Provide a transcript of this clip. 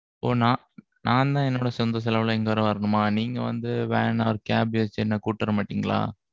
நான்தான் என்னோட சொந்த செலவுல, இங்க வேற வரணுமா? நீங்க வந்து, van or cab வச்சு, நீங்க வந்து என்னை கூட்டிட்டு வர மாட்டீங்களா?